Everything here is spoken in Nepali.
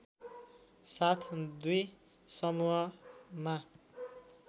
साथ दुई समूहमा